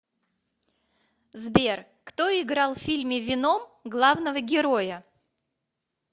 сбер кто играл в фильме веном главного героя